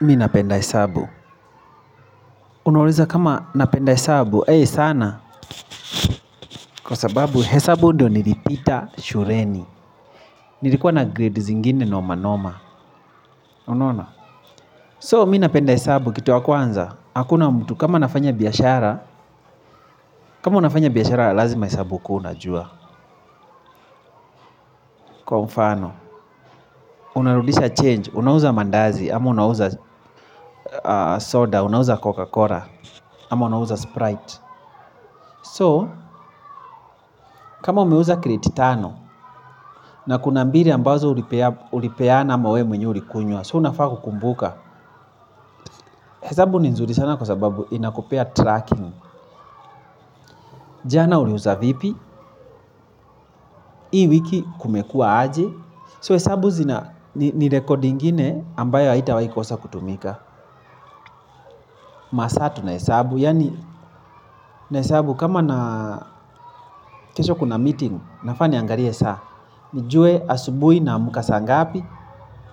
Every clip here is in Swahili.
Mi napenda hesabu. Unauliza kama napenda hesabu? Sana. Kwa sababu hesabu ndio nilipita shuleni. Nilikuwa na grades ingine na noma noma unaona So mi napenda hesabu kitu wa kwanza. Hakuna mtu kama nafanya biashara. Kama nafanya biashara lazima hesabu ukuwe unajua. Kwa mfano. Unarudisha Change. Unauza mandazi ama unauza soda. Unauza Coca-Cola ama unauza Sprite So kama umeuza crate tano na kuna mbili ambazo ulipeana ama we mwenye ulikunywa So unafaa kukumbuka. Hesabu ni nzuri sana kwa sababu zinakopea tracking. Jana uliuza vipi. Hii wiki kumekua aje? So hesabu ni rekodi ingine ambayo haitawahi kosa kutumika. Masaa tunahesabu. Yani na hesabu kama na kesho kuna meeting nafaa niangalie saa nijue asubuhi naamka sangapi.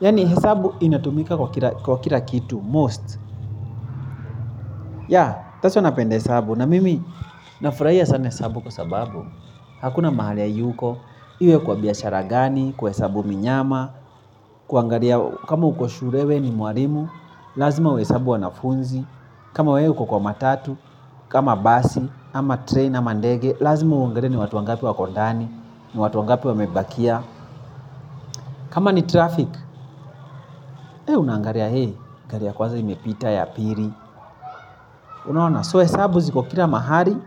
Yani hesabu inatumika kwa kila kitu Most so napenda hesabu na mimi nafurahia sana hesabu kwa sababu hakuna mahali hayuko, iwe kwa biashara gani, kuhesabu minyama. Kuangalia kama uko shule we ni mwalimu, lazima uhesabu wanafunzi. Kama wewe uko kwa matatu, kama basi, ama train, ama ndege. Lazima uangalie ni watu wangapi wako ndani, ni watu wangapi wamebakia. Kama ni traffic, wewe unangalia gari ya kwanza imepita ya pili unaona so hesabu ziko kila mahali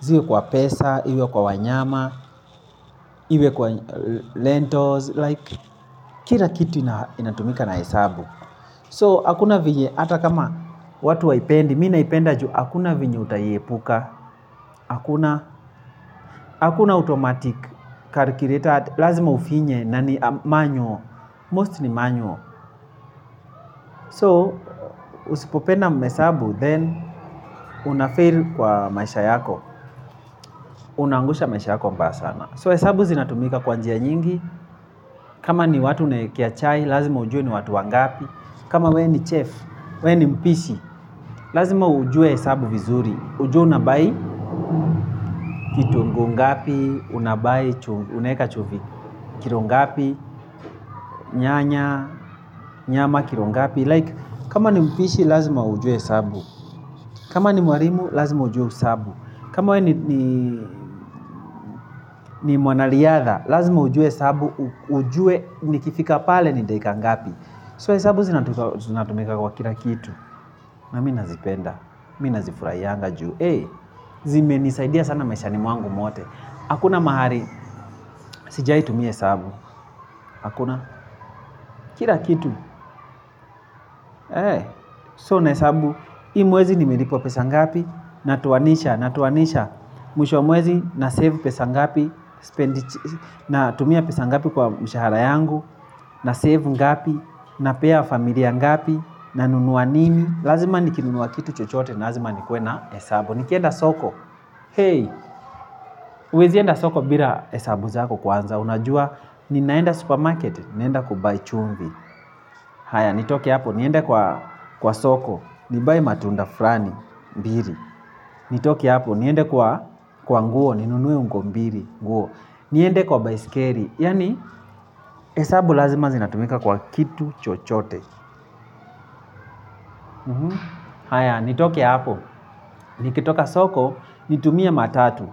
ziwe kwa pesa, iwe kwa wanyama iwe kwa rentals like kila kitu inatumika na hesabu so hakuna venye ata kama watu waipendi mi naipenda juu hakuna venye utaiepuka hakuna automatic Calculator lazima ufinye na ni manual most ni manual so usipopenda hesabu then unafail kwa maisha yako unaangusha maisha yako mbaya sana So hesabu zinatumika kwa njia nyingi. Kama ni watu uneekea chai, lazima ujue ni watu wangapi. Kama we ni chef, we ni mpishi, lazima ujue hesabu vizuri. Ujue unabai, kitunguu ngapi, unabai, unaeka chumvi. Kilo ngapi, nyanya, nyama, kilo ngapi. Like kama ni mpishi lazima ujue hesabu. Kama ni mwalimu lazima ujue hesabu. Kama we ni ni mwanariadha lazima ujue hesabu. Ujue nikifika pale ni dakika ngapi So hesabu zinatumika kwa kila kitu na mi nazipenda, mi nazifurayanga juu. Zimenisaidia sana maisha ni mwangu mote. Hakuna mahali, sijaji tumia hesabu. Hakuna kila kitu So nahesabu, hii mwezi nimelipwa pesa ngapi na toanisha, na tuoanisha, mwisho mwezi, na save pesa ngapi, na tumia pesa ngapi kwa mshahara yangu, na save ngapi, na pea familia ngapi, nanunua nini, lazima nikinunua kitu chochote, lazima nikue na hesabu, nikienda soko, uwezi enda soko bila hesabu zako kwanza, unajua, ninaenda supermarket, ninaenda kubai chumvi, haya, nitoki hapo, niende kwa soko, nibai matunda fulani, mbili nitoke hapo, niende kwa nguo, ninunuwe nguo mbili nguo. Niende kwa baisikeli, yani hesabu lazima zinatumika kwa kitu chochote. Haya, nitoke hapo, nikitoka soko, nitumie matatu.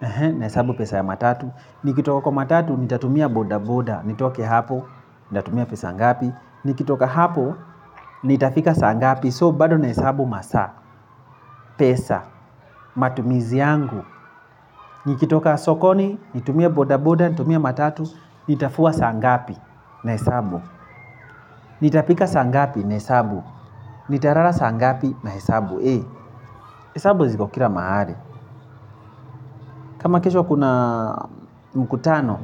Na hesabu pesa ya matatu, nikitoka kwa matatu, nitatumia boda boda. Nitoki hapo, nitatumia pesa ngapi. Nikitoka hapo, nitafika saa ngapi So bado na hesabu masaa, pesa, matumizi yangu. Nikitoka sokoni, nitumia boda boda, nitumia matatu. Nitafua saa ngapi na hesabu. Nitafika saa ngapi na hesabu. Nitalala saa ngapi na hesabu hesabu ziko kila mahali. Kama kesho kuna mkutano.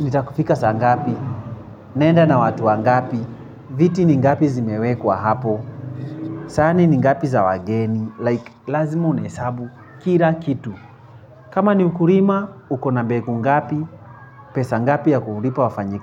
Nitafika sangapi, naenda na watu wangapi. Viti ni ngapi zimewekwa hapo. Sahani ni ngapi za wageni Like, lazima unahesabu kila kitu. Kama ni ukulima, uko na mbegu ngapi. Pesa ngapi ya kulipa wafanyakazi.